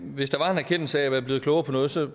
hvis der var en erkendelse af at være blevet klogere på noget så